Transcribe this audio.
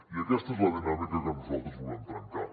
i aquesta és la dinàmica que nosaltres volem trencar